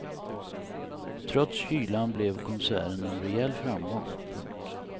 Trots kylan blev konserten en rejäl framgång. punkt